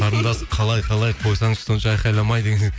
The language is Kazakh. қарындас қалай қалай қойсаңшы сонша айқайламай деген